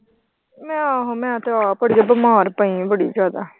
ਮੈਂ ਆਹੋ ਮੈਂ ਤੇ ਆਪ ਅੜੀਏ ਬਿਮਾਰ ਪਈ ਆਂ ਬੜੀ ਜ਼ਿਆਦਾ।